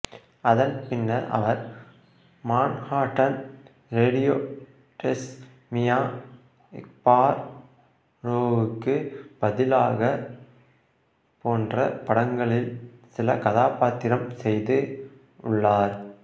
அதன் பின்னர் அவர் மான்ஹாட்டன் ரேடியோ டேஸ் மியா ஃபார்ரோவுகு பதிலாக போன்ற படங்களில் சில கதாபாத்திரம் செய்து உள்ளார்